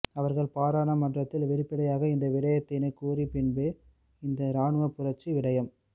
அவர்கள் பாராளுமன்றத்தில் வெளிப்படையாக இந்த விடயத்தினை கூறிய பின்பே இந்த இராணுவ புரட்சி விடயம்